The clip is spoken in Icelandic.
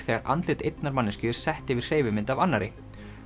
þegar andlit einnar manneskju er sett yfir hreyfimynd af annarri